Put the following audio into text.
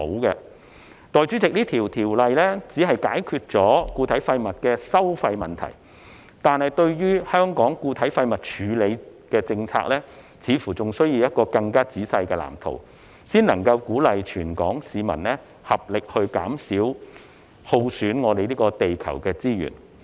代理主席，這項條例只是解決固體廢物的收費問題，但對於香港的固體廢物處理政策，似乎仍需要一個更仔細的藍圖，才能鼓勵全港市民合力減少耗損地球資源。